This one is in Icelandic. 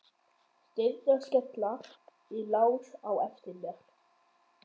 Dyrnar skella í lás á eftir mér.